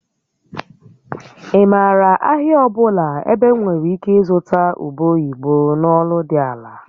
Ị maara ahịa ọ bụla ebe m nwere ike ịzụta ube oyibo na ọnụ dị ala?